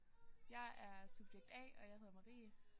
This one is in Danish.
Jeg er subjekt A og jeg hedder Marie